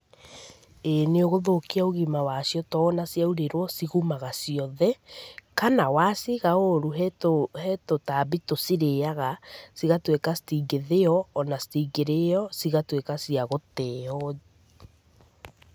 Ĩĩ nĩ ũgũthũkia ũgima wa cio to ona ciarũrĩrwo cigumaga ciothe. Kana, waciiga ũũru he he tũtambi tũcirĩaga, cigatuĩka citingĩthĩo, ona citingĩrĩro. Cigatuĩka cia gũteo.